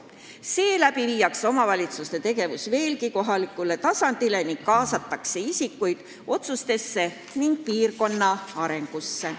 Nõnda viiakse omavalitsuste tegevus veelgi enam kohalikule tasandile ning kaasatakse elanikke otsuste tegemisse ja piirkonna arendamisse.